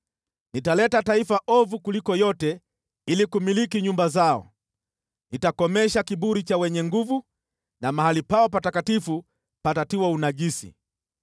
Nitaleta taifa ovu kuliko yote ili kumiliki nyumba zao, nitakomesha kiburi cha wenye nguvu na mahali pao patakatifu patatiwa unajisi.